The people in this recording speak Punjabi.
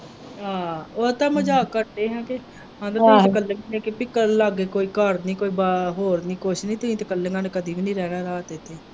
ਹਾਂ ਉਹ ਤਾਂ ਮਜਾਕ ਕਰਦੇ ਹੀ ਲਾਗੇ ਕੋਈ ਘਰ ਨਹੀਂ ਕੋਈ ਬਾਹਰ ਹੋਰ ਨਹੀਂ ਕੁੱਝ ਨਹੀਂ ਤੁਸੀਂ ਤੇ ਇੱਕਲੀਆਂ ਨੇ ਕਦੀ ਵੀ ਨਹੀਂ ਰਹਿਣਾ ਰਾਤ ਉੱਥੇ।